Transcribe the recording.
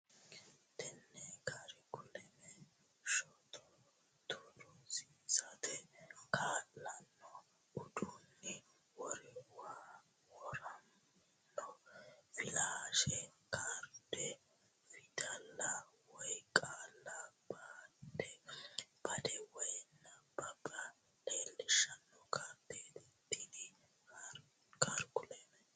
Tenne karikuleme shotootu rosiisate kaa lanno uduunni woramino Filaashi kaarde fidalla woy qaalla badde woy nabbabbe leellishshanno kaardeet Tenne karikuleme.